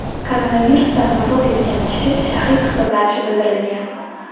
Koronavirusdan vafot etgan kishi shahid hisoblanishi bildirilgan .